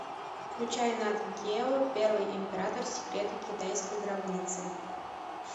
включай нат гео первый император секреты китайской гробницы